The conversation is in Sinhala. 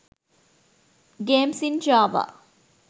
games in java